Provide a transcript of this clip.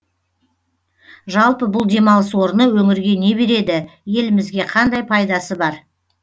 жалпы бұл демалыс орны өңірге не береді елімізге қандай пайдасы бар